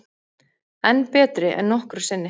Enn betri en nokkru sinni